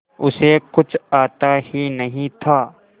उसे कुछ आता ही नहीं था